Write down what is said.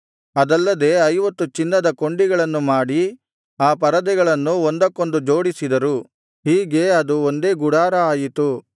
ಅದಲ್ಲದೆ ಐವತ್ತು ಚಿನ್ನದ ಕೊಂಡಿಗಳನ್ನು ಮಾಡಿ ಆ ಪರದೆಗಳನ್ನು ಒಂದಕ್ಕೊಂದು ಜೋಡಿಸಿದರು ಹೀಗೆ ಅದು ಒಂದೇ ಗುಡಾರ ಆಯಿತು